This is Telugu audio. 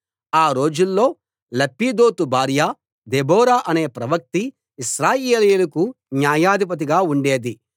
ఆ రోజుల్లో లప్పీదోతు భార్య దెబోరా అనే ప్రవక్త్రి ఇశ్రాయేలీయులకు న్యాయాధిపతిగా ఉండేది